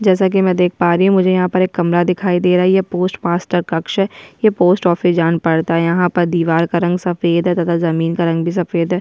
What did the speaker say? जैसा कि मैं देख पा रही हुँ मुझे यहाँ पर एक कमरा दिखाई दे रही है। पोस्ट मास्टर कक्ष है ये पोस्ट ऑफिस जान पड़ता है। यहाँ पर दीवार का रंग सफ़ेद है तथा जमीन का रंग भी सफ़ेद है।